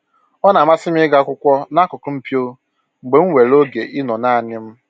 Ọ na-amasị m ịgụ akwụkwọ n'akụkụ mpio mgbe m nwere oge ịnọ naanị m